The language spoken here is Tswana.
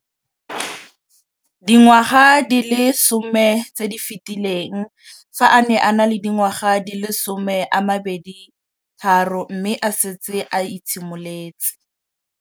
Dingwaga di le 10 tse di fetileng, fa a ne a le dingwaga di le 23 mme a setse a itshimoletse.